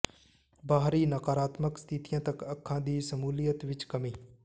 ਬਾਹਰੀ ਨਕਾਰਾਤਮਕ ਸਥਿਤੀਆਂ ਤੱਕ ਅੱਖਾਂ ਦੀ ਸ਼ਮੂਲੀਅਤ ਵਿੱਚ ਕਮੀ